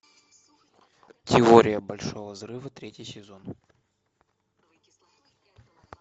теория большого взрыва третий сезон